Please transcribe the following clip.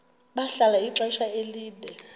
bahlala ixesha elide